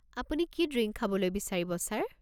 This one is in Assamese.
আপুনি কি ড্ৰিংক খাবলৈ বিচাৰিব ছাৰ?